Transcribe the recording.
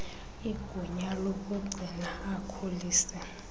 igunya lokugcina akhulise